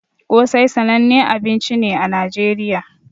Kosai sananne abinci ne a nigeriya